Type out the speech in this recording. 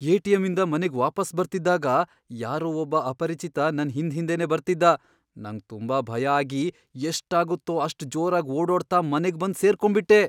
ಎ.ಟಿ.ಎಂ.ಇಂದ ಮನೆಗ್ ವಾಪಸ್ ಬರ್ತಿದ್ದಾಗ ಯಾರೋ ಒಬ್ಬ ಅಪರಿಚಿತ ನನ್ ಹಿಂದ್ಹಿಂದೆನೇ ಬರ್ತಿದ್ದ. ನಂಗ್ ತುಂಬ ಭಯ ಆಗಿ ಎಷ್ಟಾಗತ್ತೋ ಅಷ್ಟ್ ಜೋರಾಗ್ ಓಡೋಡ್ತಾ ಮನೆಗ್ಬಂದ್ ಸೇರ್ಕೊಂಬಿಟ್ಟೆ.